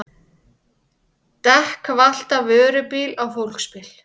Dekk valt af vörubíl á fólksbíl